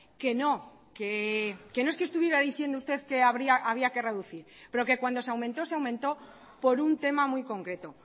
que no que no es que estuviera diciendo usted que había que reducir pero que cuando se aumentó se aumentó por un tema muy concreto